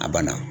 A banna